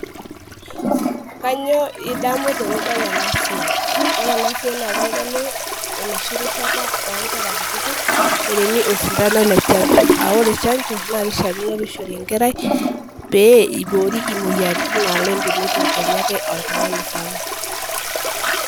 Kanyio idamu tenidol enasia ore enasia nakitadolu enoshi rishata onkera kutitik oremu osintano le chancho aa ore chancho na kishakino peishori enkerai peiboori moyiaritin enetum kenyake oltungani sapuk .